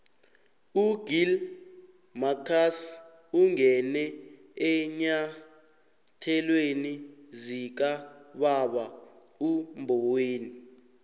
ugill marcus ungene eenyathelweni zikababa umboweni